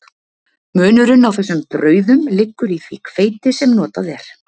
Munurinn á þessum brauðum liggur í því hveiti sem notað er.